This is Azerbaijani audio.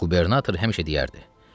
Qubernator həmişə deyərdi: